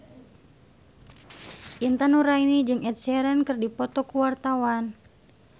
Intan Nuraini jeung Ed Sheeran keur dipoto ku wartawan